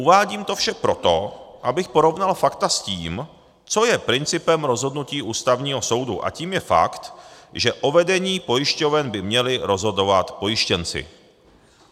Uvádím to vše proto, abych porovnal fakta s tím, co je principem rozhodnutí Ústavního soudu, a tím je fakt, že o vedení pojišťoven by měli rozhodovat pojištěnci.